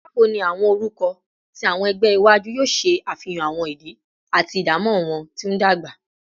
Bawo ni awọn orukọ ti awọn ẹgbẹ iwaju yoo ṣe afihan awọn idi ati idamọ wọn ti ndagba?